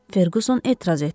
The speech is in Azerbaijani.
Ferquson etiraz etdi.